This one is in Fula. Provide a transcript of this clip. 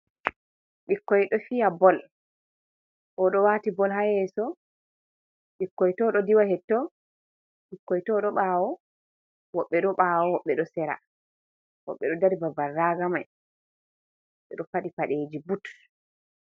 Ɓikkoy ɗo fiya bol, oo ɗo waati bol haa yeeso, ɓikkoy too ɗo diwa hetto, ɓikkoy too ɗo ɓaawo, woɓɓe ɗo ɓaawo, woɓɓe ɗo sera, woɓɓe ɗo dari babal raaga man ɓe ɗo faɗi paɗeeji But.